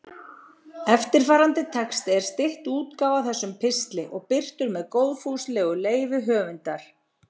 Eftirfarandi texti er stytt útgáfa af þessum pistli og birtur með góðfúslegu leyfi höfundar.